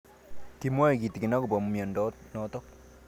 Kimwae kitig'in akopo miondo notok